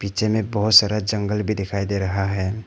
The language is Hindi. पीछे में बहोत सारा जंगल भी दिखाई दे रहा है।